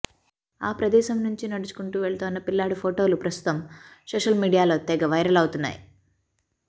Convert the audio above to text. ఆ ప్రదేశం నుంచి నడుచుకుంటూ వెళ్తోన్న పిల్లాడి ఫోటోలు ప్రస్తుతం సోషల్ మీడియాలో తెగ వైరలవుతున్నాయి